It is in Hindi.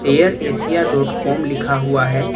एयर एशिया डॉट कॉम लिखा हुआ है।